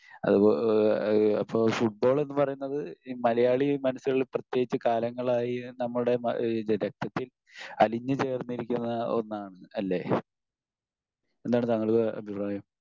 അപ്പൊ ഫുട്ബോൾ എന്ന് പറയുന്നത് മലയാളി മനസ്സുകളിൽ പ്രത്യേകിച്ച് കാലങ്ങളായി നമ്മുടെ ഇഹ് രക്തത്തിൽ അലിഞ്ഞു ചേർന്നിരിക്കുന്ന ഒന്നാണ് അല്ലെ? എന്താണ് താങ്കളുടെ അഭിപ്രായം?